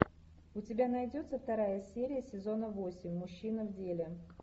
у тебя найдется вторая серия сезона восемь мужчины в деле